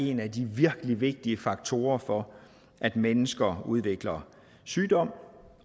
en af de virkelig vigtige faktorer for at mennesker udvikler sygdom